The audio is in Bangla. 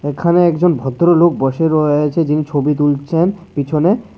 এখানে একজন ভদ্রলোক বসে রয়ে আছে যিনি ছবি তুলছেন পিছনে।